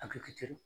A bɛ kɛ